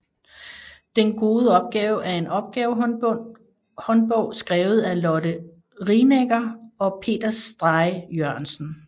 Den gode opgave er en opgavehåndbog skrevet af Lotte Rienecker og Peter Stray Jørgensen